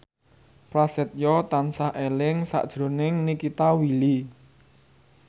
Prasetyo tansah eling sakjroning Nikita Willy